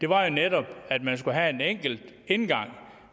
var jo netop at man skulle have en enkel indgang